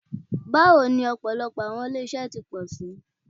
Bawo ni ọpọlọpọ Awọn ile iṣelọpọ ti ṣii